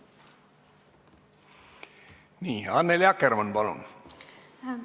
Nii, Annely Akkermann, palun!